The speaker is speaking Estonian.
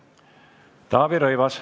Taavi Rõivas.